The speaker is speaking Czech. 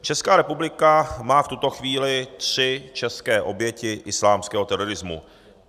Česká republika má v tuto chvíli tři české oběti islámského terorismu.